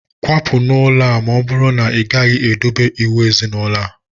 Kwapụ n'ụlọ a! na ọbụrụ na ị gaghị edobe iwu ezinaulo a